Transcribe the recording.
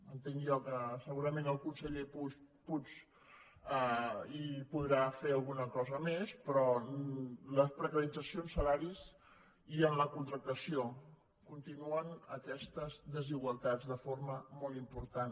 entenc jo que segurament el conseller puig hi podrà fer alguna cosa més però en les precaritzacions en salaris i en la contractació continuen aquestes desigualtats de forma molt important